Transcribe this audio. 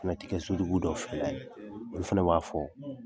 Fana tɛ kɛ sotigi dɔw fɛla ye olu b'a fɔ.